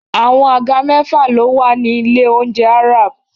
Àwọn àga mẹ́fà ló wà ní ilé-oúnjẹ Arab.